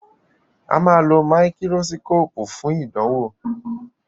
Ama ló Máíkírósíkópù fún ìdánwò.